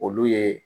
Olu ye